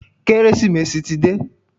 Kérésìmesì ti dé.